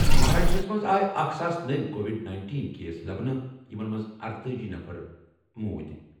مہاراشٹرَس منٛز آیہِ ساس نٔوۍ کووِڈ نینٹین کیس لبنہٕ ، یمو منٛز ارتأجی نفر موٗدۍ ۔